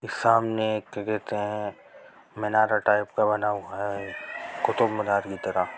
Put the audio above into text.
सामने एक क्या कहते है मीनारा टाइप का बना हुआ है कुतूममीनार की तरह।